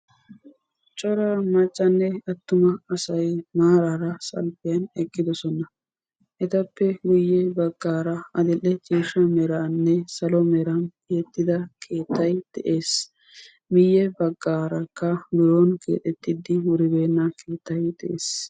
cora maccanne attuma asay maarara salppiyan eqqidoosona. etappe guyye baggaara adil'ee ciishshaa meranne salo meran tiyyetida keettay de'ees. miyye baggaarakka biron keexxetidi wuribeena keettay de'ees.